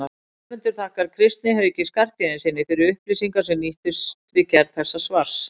Höfundur þakkar Kristni Hauki Skarphéðinssyni fyrir upplýsingar sem nýttust við gerð þessa svars.